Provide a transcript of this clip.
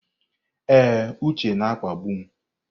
Ee, Uche na-akpagbu m.